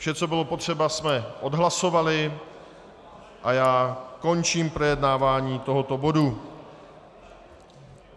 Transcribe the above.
Vše, co bylo potřeba, jsme odhlasovali a já končím projednávání tohoto bodu.